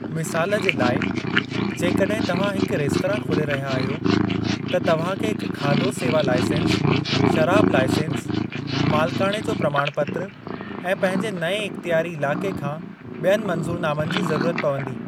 मिसालु जे लाइ, जेकड॒हिं तव्हां हिकु रेस्तरां खोले रहिया आहियो, त तव्हांखे हिकु खाधो सेवा लाइसेंस, शराबु लाइसेंस, मालिकाणे जो प्रमाण पत्र ऐं पंहिंजे नअें इख़्तियारी इलाक़े खां बि॒यनि मंज़ूरनामनि जी ज़रुरत पवंदी।